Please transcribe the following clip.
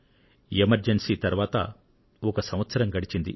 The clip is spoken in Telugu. ఎమర్జెన్సీ తరువాత ఒక సంవత్సరం గడిచింది